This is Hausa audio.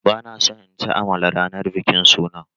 Ba na son in ci amala ranar bikin sunan.